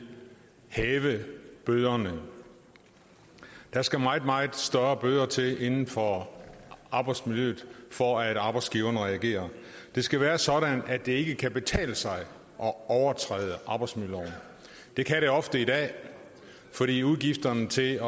hæve bøderne der skal meget meget større bøder til inden for arbejdsmiljøet for at arbejdsgiveren reagerer det skal være sådan at det ikke kan betale sig at overtræde arbejdsmiljøloven det kan det ofte i dag fordi udgifterne til